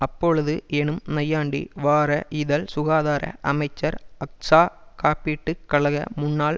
அப்பொழுது எனும் நையாண்டி வார இதழ் சுகாதார அமைச்சர் அக்ஸா காப்பீட்டு கழக முன்னாள்